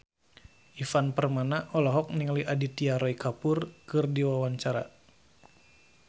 Ivan Permana olohok ningali Aditya Roy Kapoor keur diwawancara